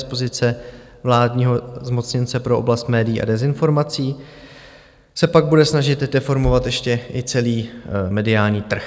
Z pozice vládního zmocněnce pro oblast médií a dezinformací se pak bude snažit deformovat ještě i celý mediální trh.